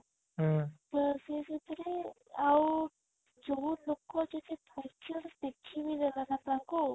ତା ସିଏ ସେଥିରେ ଆଉ ଯୋଉ ଲୋକ ଯଦି ପଛରୁ ଦେଖି ବି ଦେଲା ନା ତାଙ୍କୁ